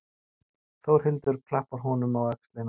Þórhildur klappar honum á öxlina.